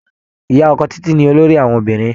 Ìyá ọkọ Títí ni olóríh àwọn obìnrin.